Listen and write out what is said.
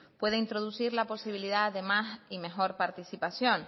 puede introducir la posibilidad de más y mejor participación